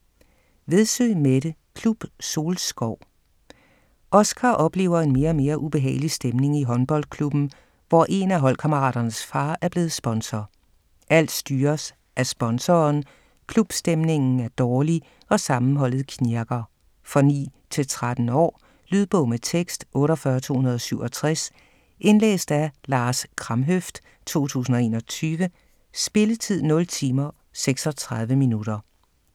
Vedsø, Mette: Klub Solskov Oscar oplever en mere og mere ubehagelig stemning i håndboldklubben, hvor én af holdkammeraternes far er blevet sponsor. Alt styres af sponsoren, klubstemningen er dårlig, og sammenholdet knirker. For 9-13 år. Lydbog med tekst 48267 Indlæst af Lars Kramhøft, 2021. Spilletid: 0 timer, 36 minutter.